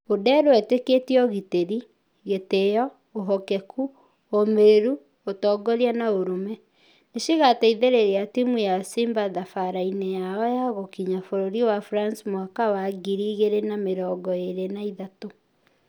Odero ĩtekĩtie ũgitĩri, gĩtio , ũhokĩku, ũmereru, ũtongoria na ũrũme. Nĩcĩgatĩithereria timũ ya simba thabara-inĩ yao ya gũkinya bũrũri wa france mwaka wa ngiri igĩrĩ na mĩrongo ĩrĩ na ithatũ.